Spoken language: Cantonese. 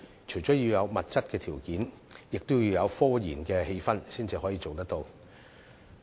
除了要有物質條件，亦要有科研的氣氛，才可以做得到。